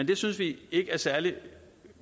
det synes vi ikke er særlig